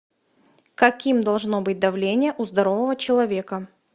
каким должно быть давление у здорового человека